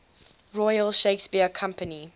royal shakespeare company